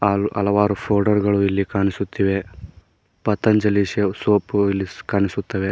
ಅಲ್ ಹಲವಾರು ಫೋಲ್ಡರ್ಗ ಳು ಇಲ್ಲಿ ಕಾಣಿಸುತ್ತಿವೆ ಪತಾಂಜಲಿ ಸೇ ಸೋಪು ಇಲ್ಲಿ ಕಾಣಿಸುತ್ತವೆ.